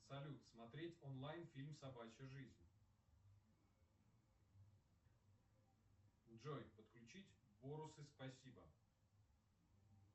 салют смотреть онлайн фильм собачья жизнь джой подключить бонусы спасибо